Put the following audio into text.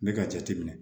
N bɛ ka jate minɛ